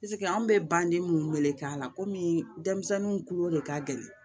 anw bɛ banden minnu me k'a la komi denmisɛnninw kulo de ka gɛlɛn